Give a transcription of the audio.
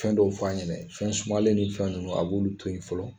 Fɛn dɔw f'a ɲɛna fɛn sumalen ni fɛn ninnu a b'olu to yen fɔlɔ